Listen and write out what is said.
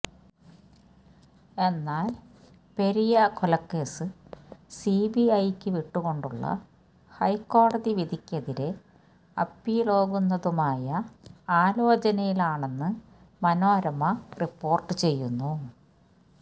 എന്നാൽ പെരിയ കൊലക്കേസ് സിബിഐക്കു വിട്ടുകൊണ്ടുള്ള ഹൈക്കോടതി വിധിക്കെതിരെ അപ്പീല്പോകുന്നതുമായ ആലോചനയിലാണെന്ന് മനോരമ റിപ്പോർട്ട് ചെയ്യുന്നു